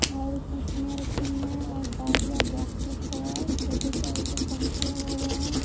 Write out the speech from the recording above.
और कुर्सियां रखी हुई हैं और बाजा बॉक्स रखा हुआ है छोटा सा ऊपर पंखा लगा हुआ है।